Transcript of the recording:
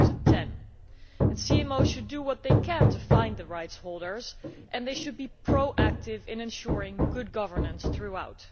2010. CMOs should do what they can to find the rights holders and should be proactive in ensuring good governance throughout.